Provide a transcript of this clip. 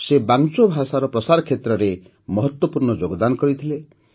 ସେ ବାଂଚୋ ଭାଷାର ପ୍ରସାର କ୍ଷେତ୍ରରେ ମହତ୍ତ୍ୱପୂର୍ଣ୍ଣ ଯୋଗଦାନ ଦେଇଥିଲେ